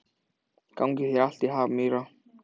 Gangi þér allt í haginn, Myrra.